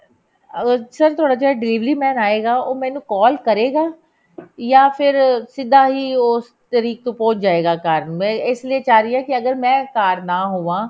ਅਹ sir ਤੁਹਾਡਾ ਜਿਹੜਾ delivery man ਆਏਗਾ ਉਹ ਮੈਨੂੰ call ਕਰੇਗਾ ਜਾਂ ਫੇਰ ਸਿੱਧਾ ਈ ਉਸ ਤਰੀਕ ਤੇ ਪਹੁੰਚ ਜਾਏਗਾ ਘਰ ਮੈਂ ਇਸ ਲਈ ਚਾਹ ਰਹੀ ਹਾਂ ਕਿ ਅਗਰ ਮੈਂ ਘਰ ਨਾ ਹੋਵਾਂ